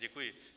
Děkuji.